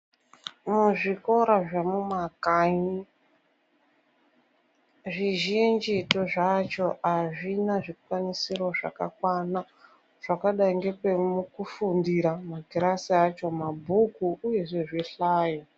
Muzvikora zvemumakanyi zvizhinjitu zvacho azvina zvikwanisiro zvakakwana zvakadai ngepekufundira, makirasi acho, mabhuku uyezve zvihlayo.